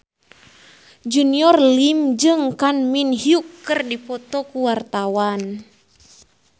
Junior Liem jeung Kang Min Hyuk keur dipoto ku wartawan